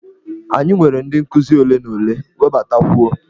Anyị nwere ndị nkuzi ole na ole, webatakwuo!